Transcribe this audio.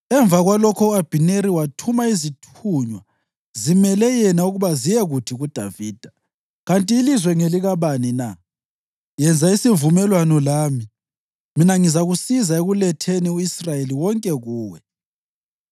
Emva kwalokho u-Abhineri wathuma izithunywa zimele yena ukuba ziyekuthi kuDavida, “Kanti ilizwe ngelikabani na? Yenza isivumelwano lami, mina ngizakusiza ekuletheni u-Israyeli wonke kuwe.”